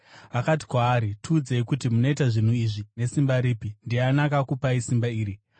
Vakati kwaari, “Tiudzei kuti munoita zvinhu izvi nesimba ripi? Ndiani akakupai simba iri?”